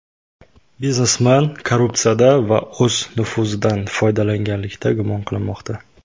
Biznesmen korrupsiyada va o‘z nufuzidan foydalanganlikda gumon qilinmoqda.